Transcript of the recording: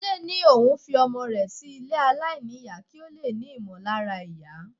Túndé ní òun fi ọmọ rẹ sí ilé aláìníyà kí ó lè ní ìmọ̀lára ìyá.